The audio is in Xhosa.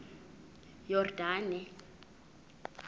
yordane